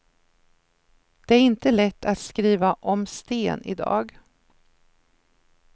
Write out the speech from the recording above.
Det är inte lätt att skriva om sten i dag.